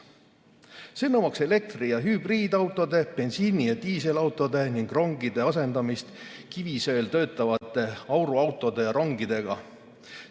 See nõuaks elektri‑ ja hübriidautode, bensiini‑ ja diiselautode ning rongide asendamist kivisöel töötavate auruautode ja ‑rongidega.